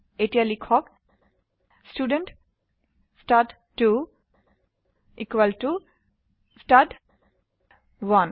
এতিয়া লিখক ষ্টুডেণ্ট ষ্টাড2 ইকুয়েল টু ষ্টাড1